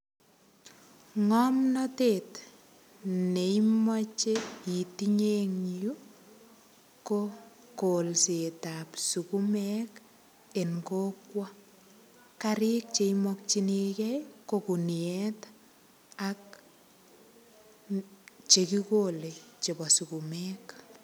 Ngomnatet neimoche itinye en yu, ko kolsetab sugumek en kokwo. Karik che imokyinigei ko kuniet ak che gigolei chepo sugumek.